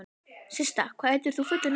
Systa, hvað heitir þú fullu nafni?